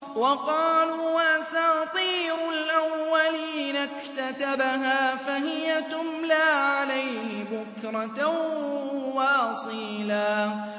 وَقَالُوا أَسَاطِيرُ الْأَوَّلِينَ اكْتَتَبَهَا فَهِيَ تُمْلَىٰ عَلَيْهِ بُكْرَةً وَأَصِيلًا